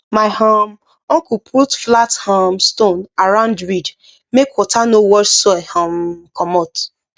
my um uncle put flat um stone around ridge make water no wash soil um commot